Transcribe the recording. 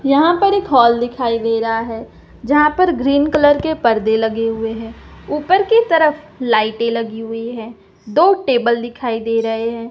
यहां पर एक हॉल दिखाई दे रहा है जहां पर ग्रीन कलर के पर्दे लगे हुए हैं ऊपर की तरफ लाइटें लगी हुई हैं दो टेबल दिखाई दे रहे हैं।